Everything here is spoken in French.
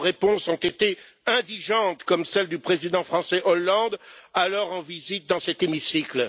Vos réponses ont été indigentes, comme celle du président français Hollande alors en visite dans cet hémicycle.